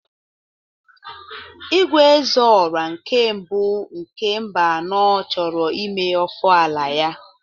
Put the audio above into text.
Igwe "Ezeorah nke mbụ" nke Mbano chọrọ ime ofala ya.